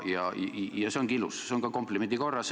Ja see ongi ilus – ütlen seda komplimendi korras.